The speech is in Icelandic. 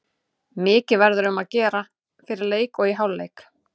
Mikið verður um að gera fyrir leik og í hálfleik.